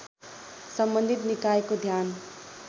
सम्बन्धित निकायको ध्यान